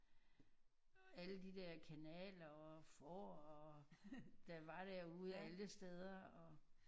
Alle de der kanaler og får og der var derude alle steder og